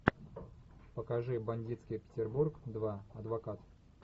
покажи бандитский петербург два адвокат